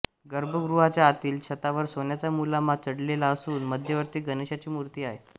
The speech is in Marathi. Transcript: गर्भगृहाच्या आतील छतावर सोन्याचा मुलामा चढलेला असून मध्यवर्ती गणेशाची मूर्ती आहे